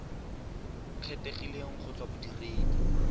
kgethegileng go tswa go bodiredi